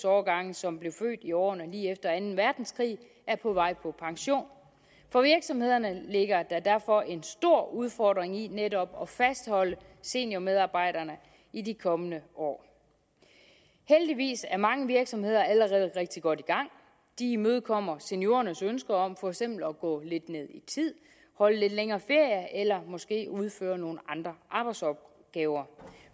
årgange som blev født i årene lige efter anden verdenskrig er på vej på pension for virksomhederne ligger der derfor en stor udfordring i netop at fastholde seniormedarbejderne i de kommende år heldigvis er mange virksomheder allerede rigtig godt i gang de imødekommer seniorernes ønsker om for eksempel at gå lidt ned i tid holde lidt længere ferier eller måske udføre nogle andre arbejdsopgaver